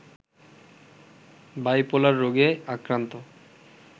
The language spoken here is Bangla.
বাইপোলার রোগে আক্রান্ত